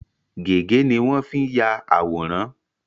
Gègé ni won n fii ya àwòrán